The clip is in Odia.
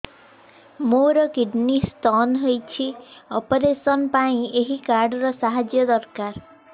ମୋର କିଡ଼ନୀ ସ୍ତୋନ ହଇଛି ଅପେରସନ ପାଇଁ ଏହି କାର୍ଡ ର ସାହାଯ୍ୟ ଦରକାର